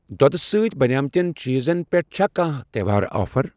دۄدٕ سۭتۍ بَنیمٕتٮ۪ن چیٖزن پٮ۪ٹھ چھا کانٛہہ تہٚوہار آفر؟